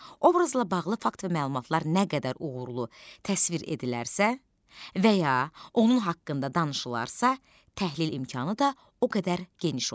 Obrazla bağlı fakt və məlumatlar nə qədər uğurlu təsvir edilərsə və ya onun haqqında danışılarsa, təhlil imkanı da o qədər geniş olar.